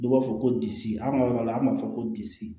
Dɔw b'a fɔ ko disi an ka yɔrɔ la an b'a fɔ ko disi